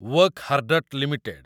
Wockhardt limited